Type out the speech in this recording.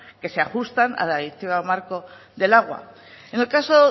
que se ajustan a la directiva marco del agua en el caso